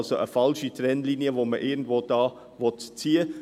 Man will somit eine falsche Trennlinie ziehen.